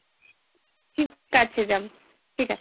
ঠিক আছে যাবো, ঠিক আছে।